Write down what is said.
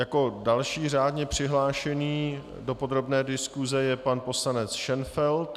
Jako další řádně přihlášený do podrobné diskuse je pan poslanec Šenfeld.